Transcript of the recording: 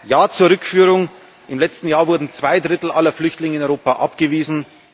Ja zur Rückführung Im letzten Jahr wurden zwei Drittel aller Flüchtlinge in Europa abgewiesen.